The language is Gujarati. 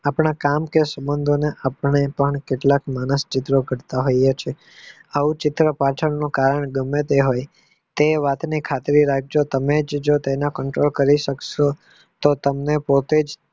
આપણા કામ કે સંબંધોમાં આપણે પણ કેટલાક માણસ ચિત્ર કરતા હોયે છીએ આવા ચિત્ર પાછળ નું કારણ ગમે તે હવે તે વાત ની ખાતરી રાખીયે તેને control કરી શકસો તો તમને